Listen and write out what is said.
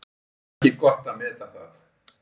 Það er ekki gott að meta það.